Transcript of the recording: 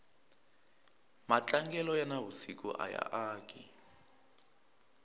matlangelo ya na vusiku aya aki